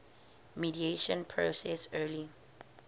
mediation process early